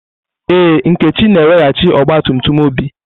Ee, Nkechi na-eweghachi ọgba tum tum Obi.